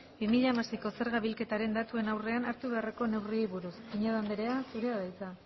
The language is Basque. bi mila hamaseiko zerga bilketaren datuen aurrean hartu beharreko neurriei buruz pinedo andrea zurea da hitza